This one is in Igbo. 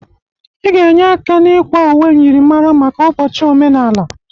Ị ga-enye aka n'ịkwa uwe myịrịmara maka ụbọchị omenala.